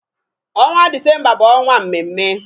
Ọnwa Dizemba bụ ọnwa mmemme.